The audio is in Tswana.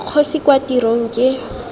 kgosi kwa tirong kgr ke